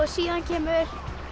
síðan kemur